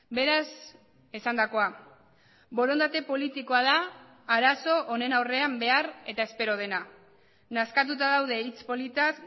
beraz esandakoa borondate politikoa da arazo honen aurrean behar eta espero dena nazkatuta daude hitz politaz